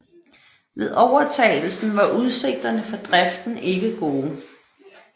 Ved overtagelsen var udsigterne for driften ikke gode